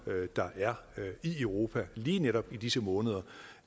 der er i europa lige netop i disse måneder